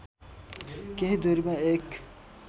केही दूरीमा एक